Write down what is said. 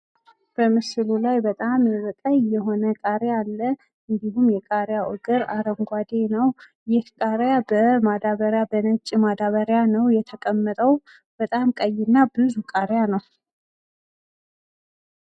በምስሉ ላይ በጣም የሆነ ቀይ የሆን ቃሪያ አለ። እንዲሁም ቃሪያ እግር አረንጓዴ ነው። ይህ ቃሪያ በማዳበሪያ በነጭ ማዳበሪያ ነው የተቀመጠው በጣም ቀይና ብዙ ቃሪያ ነው።